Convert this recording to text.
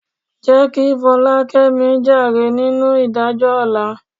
Jẹ́ kí Fọlákẹ́mi jàre nínú ìdájọ́ ọ̀la.